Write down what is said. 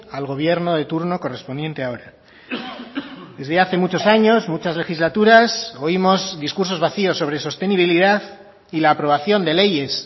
al gobierno de turno correspondiente a ahora desde hace muchos años muchas legislaturas oímos discursos vacíos sobre sostenibilidad y la aprobación de leyes